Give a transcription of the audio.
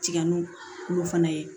Tigɛnu kulo fana ye